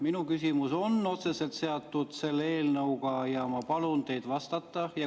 Minu küsimus on otseselt seotud selle eelnõuga ja ma palun teid vastata.